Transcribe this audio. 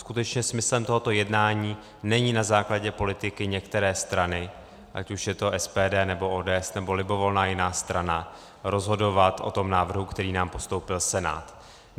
Skutečně smyslem tohoto jednání není na základě politiky některé strany, ať už je to SPD, nebo ODS, nebo libovolná jiná strana, rozhodovat o tom návrhu, který nám postoupil Senát.